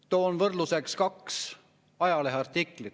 Toon võrdluseks kaks ajaleheartiklit.